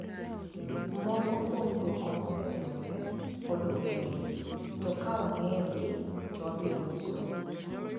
Moko kuom duoko mosetimore pod ok onig'ere, to ka wanig'eyogi to wabiro niyisou.'